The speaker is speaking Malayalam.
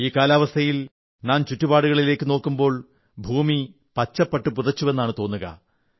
ഈ കാലാവസ്ഥയിൽ നാം ചുറ്റുപാടുകളിലേക്കു നോക്കുമ്പോൾ ഭൂമി പച്ചപ്പട്ടു പുതച്ചുവെന്നാണ് തോന്നുക